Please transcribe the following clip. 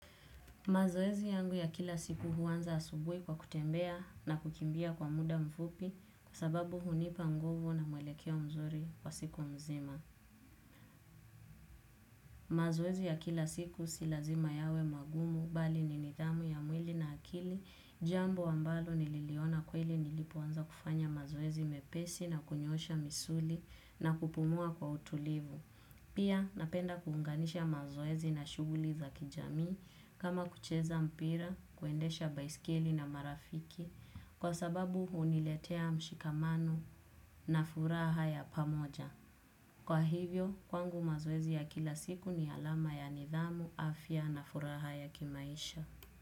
Mazoezi yangu ya kila siku huanza asubuhi kwa kutembea na kukimbia kwa muda mfupi kwa sababu hunipa nguvu na muelekea mzuri kwa siku nzima. Mazoezi ya kila siku si lazima yawe magumu bali ni nidhamu ya mwili na akili jambo ambalo nililiona kweli nilipoanza kufanya mazoezi mepesi na kunyoosha misuli na kupumua kwa utulivu. Pia, napenda kuunganisha mazoezi na shughuli za kijamii kama kucheza mpira, kuendesha baiskeli na marafiki kwa sababu huniletea mshikamano na furaha ya pamoja. Kwa hivyo, kwangu mazoezi ya kila siku ni alama ya nidhamu, afya na furaha ya kimaisha.